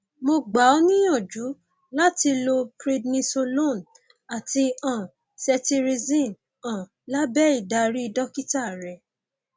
mo gba ọ níyànjú láti lo prednisolone àti um cetirizine um lábẹ ìdarí dókítà rẹ